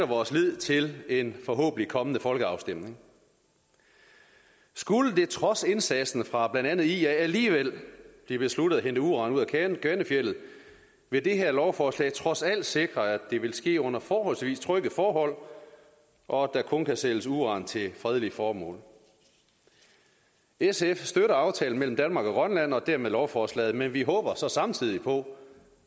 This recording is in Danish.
vores lid til en forhåbentlig kommende folkeafstemning skulle det trods indsatsen fra blandt andet ia alligevel blive besluttet at hente uran ud af kvanefjeldet vil det her lovforslag trods alt sikre at det vil ske under forholdsvis trygge forhold og at der kun kan sælges uran til fredelige formål sf støtter aftalen mellem danmark og grønland og dermed lovforslaget men vi håber så samtidig på